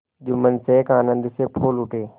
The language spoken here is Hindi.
जुम्मन शेख आनंद से फूल उठे